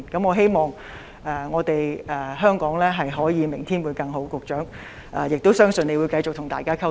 我希望香港明天會更好，亦相信局長會繼續與大家保持溝通。